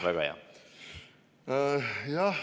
Väga hea!